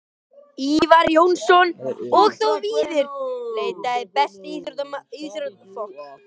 Ívar Jónsson og þó víðar væri leitað Besti íþróttafréttamaðurinn?